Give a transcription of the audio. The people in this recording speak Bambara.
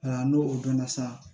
n'o o dɔnna sa